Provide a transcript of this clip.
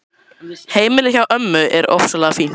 Heimilið hjá ömmu er ofsalega fínt.